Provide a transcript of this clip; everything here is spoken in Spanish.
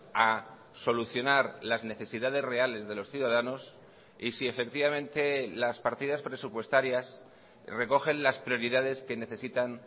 a solucionar las necesidades reales de los ciudadanos y si efectivamente las partidas presupuestarias recogen las prioridades que necesitan